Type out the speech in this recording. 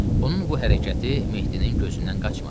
Onun bu hərəkəti Mehdinin gözündən qaçmadı.